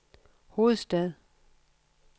hovedstad